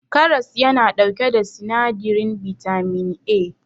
karas yana dauke da sinadirin bitamin A